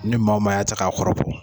Ni' maa o maa ya ta k'a kɔrɔbɔ.